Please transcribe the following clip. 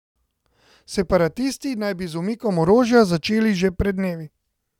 Separatisti naj bi z umikom orožja začeli že pred dnevi.